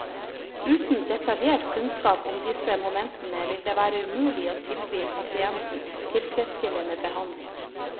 Uten detaljert kunnskap om disse momentene vil det være umulig å tilby pasienten tilfredsstillende behandling.